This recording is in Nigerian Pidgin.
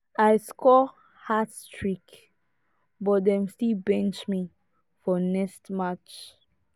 i score hat-trick but dem still bench me for next match